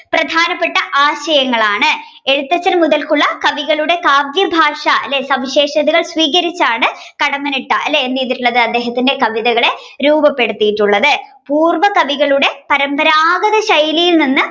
പ്രധാനപ്പെട്ട ആശയങ്ങളാണ് എഴുത്തച്ഛൻ മുതൽക്കുള്ള കവികളുടെ കാവ്യഭാഷ അല്ലെ സവിശേഷതകൾ സ്വീകരിച്ചാണ് കടമ്മനിട്ട അല്ലെ എന്ത്‌ചെയ്തിട്ടുളത് അദ്ദേഹത്തിന്റെ കവിതകളെ രൂപപെടുത്തിയിട്ടുള്ളത് പൂർവ കവികളുടെ പരമ്പരാഗത ശൈയിലിൽ നിന്ന്